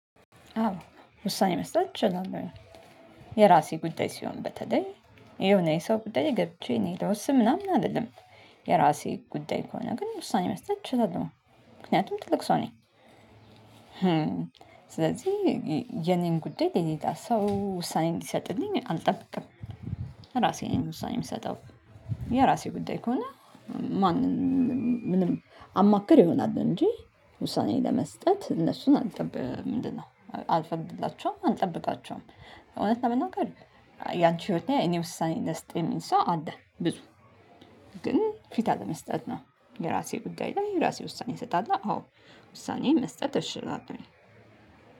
አዎ ውሳኔ መስጠት እችላለሁ። የራሴ ጉዳይ ሲሆን በተለይ የሆነ የሰው ጉዳይ ገብቼ እኔ ለውስን ምናምን አልልም። የራሴ ጉዳይ ከሆነ ግን ውሳኔ መስጠት እችላለሁ። ምክንያቱም ትልቅ ሰው ነኝ። ስለዚህ የኔን ጉዳይ ሌላ ሰው ውሳኔ እንዲሰጥልኝ አልጠብቅም። ራሴን ነኝ ውሳኔ የምሰጠው። የራሴ ጉዳይ ከሆነ። ማንም ምንም አማክር ይሆናል እንጂ ውሳኔ ለመስጠት እነሱን አልጠብቅም። ምንድነው? አልፈቅድላቸውም አልጠብቃቸውም። እውነት ለመናገር ያንቺ ህይወህ ላይ እኔ ውሳኔ ልስጥ የሚል ሰው አለ ብዙ። ግን ፊታ አለመስጠት ነው። የራሴ ጉዳይ ላይ የራሴ ውሳኔ እሰጣለው። አዎ ውሳኔ መስጠት እችላለሁኝ።